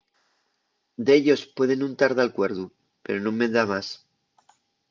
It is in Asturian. dellos pueden nun tar d’alcuerdu pero nun me da más